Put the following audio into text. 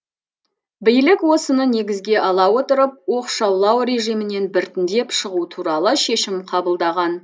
билік осыны негізге ала отырып оқшаулау режимінен біртіндеп шығу туралы шешім қабылдаған